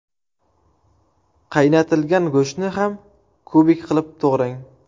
Qaynatilgan go‘shtni ham kubik qilib to‘g‘rang.